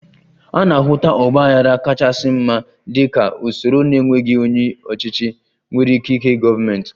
A na-ahụta ọgba aghara kachasị mma dị ka usoro na-enweghị onye ọchịchị nwere ikike gọọmentị